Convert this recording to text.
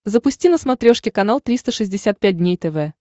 запусти на смотрешке канал триста шестьдесят пять дней тв